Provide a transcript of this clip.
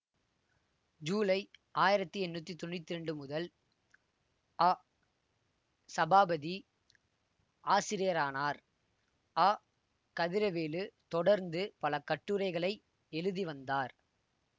ஜூலை ஆயிரத்தி எண்ணூத்தி தொன்னூத்தி இரண்டு முதல் அசபாபதி ஆசிரியரானார் அகதிரவேலு தொடர்ந்து பல கட்டுரைகளை எழுதி வந்தார்